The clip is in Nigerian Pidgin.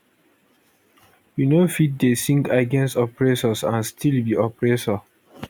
you no fit dey sing against oppressors and still be oppressor